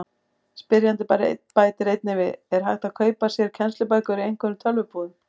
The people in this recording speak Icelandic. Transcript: Spyrjandi bætir einnig við: Er hægt að kaupa sér kennslubækur í einhverjum tölvubúðum?